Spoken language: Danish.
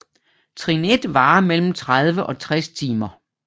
Trin 1 varer mellem 30 og 60 timer